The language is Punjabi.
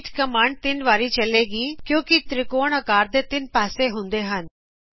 ਰੀਪੀਟ ਕਮਾਂਡਜ਼  ਵਾਰੀ ਚਲੇਗੀ ਕਿਉਕੀਂ ਤ੍ਰਿਕੋਣ ਆਕਾਰ ਦੇ ਤਿੰਨ ਪਾਸੇ ਹੁੰਦੇ ਹਨ